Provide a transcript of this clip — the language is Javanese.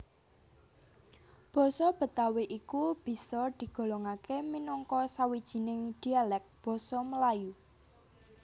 Basa Betawi iku bisa digolongaké minangka sawijining dialèk Basa Melayu